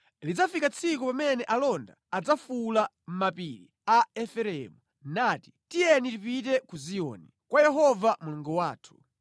Lidzafika tsiku pamene alonda adzafuwula pa mapiri a Efereimu nati, ‘Tiyeni tipite ku Ziyoni, kwa Yehova Mulungu wathu.’ ”